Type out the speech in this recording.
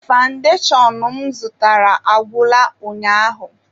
Fandashon m zụtara agwụla ụnyaahụ